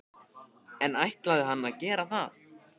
En ætlaði hann að gera það?